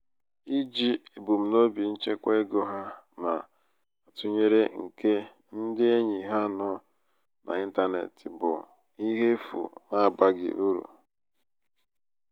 iji ebumnobi nchekwa ego ha na-atụnyere nke ndị enyi ha nọ n'intanetị bụ n'intanetị bụ ihe efu n'abaghị uru.